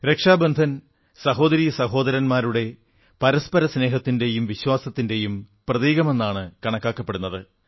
രക്ഷബന്ധനം സഹോദരീ സഹോദരന്മാരുടെ പരസ്പര സ്നേഹത്തിന്റെയും വിശ്വാസത്തിന്റെയും പ്രതീകമായിട്ടാണ് കണക്കാക്കപ്പെടുന്നത്